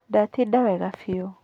Ndatinda wega biũ